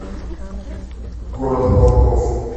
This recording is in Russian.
город волков